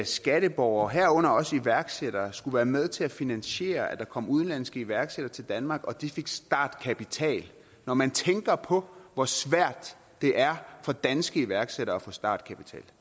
skatteborgere herunder også iværksættere skulle være med til at finansiere at der kom udenlandske iværksættere til danmark og at de fik startkapital når man tænker på hvor svært det er for danske iværksættere at få startkapital